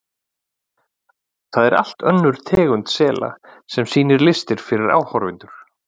Það er allt önnur tegund sela sem sýnir listir fyrir áhorfendur.